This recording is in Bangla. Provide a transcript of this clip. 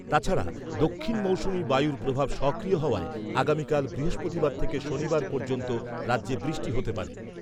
তাছাড়া দক্ষিণ মৌসুমী বায়ুর প্রভাব সক্রিয় হওয়ায় আগামীকাল বৃহস্পতিবার থেকে শনিবার পর্যন্ত রাজ্যে বৃষ্টি হতে পারে।